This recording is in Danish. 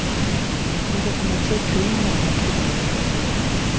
Hun kan få mig til at grine, når jeg er ked af det.